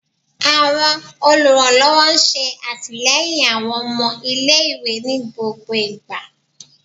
Awọn oluranlọwọ ṣe atilẹyin awọn ọmọ ile-iwe ni gbogbo igba